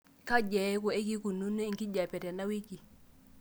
kaji eeku keikununo enkijiape tenawiki